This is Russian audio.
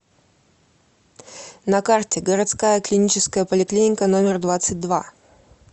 на карте городская клиническая поликлиника номер двадцать два